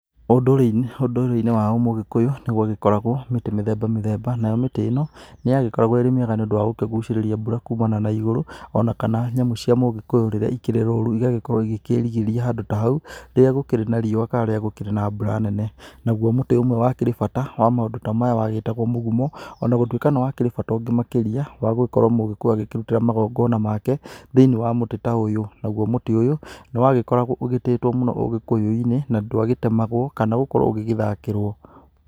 Ũndũrĩrĩ-inĩ wa Mũgĩkũyũ, nĩgwagĩkoragwo mĩtĩ mĩthemba mĩthemba, nayo mĩtĩ ĩno, nĩyagĩkoragwo ĩrĩ mĩega nĩũndũ wagũkĩgucĩrĩria mbura kumana na igũrũ. Ona kana nyamũ cia Mũgĩkũyũ rĩrĩa ikĩrĩ rũru igagĩkorwo igĩkĩrigĩria handũ ta hau, rĩrĩa gũkĩrĩ na riũa kana rĩrĩa gũkĩrĩ na mbura nene. Naguo mũtĩ umwe wakĩrĩ bata wa maũndũ ta maya, wagĩtagwo Mũgumo. Ona gũtuĩka nĩwakĩrĩ bata ũngĩ makĩria, wa gũgĩkorwo Mũgĩkũyũ agĩkĩrutĩra Magongona make, thĩ-inĩ wa mũtĩ ta ũyũ. Naguo mũtĩ ũyũ, nĩwagĩkoragwo ũgĩtĩĩtwo mũno Ugĩkũyũinĩ na ndwagĩtemagwo kana gũkorwo ũgĩgĩthakĩrwo.